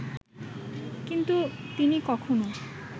কিন্তু তিনি কখনো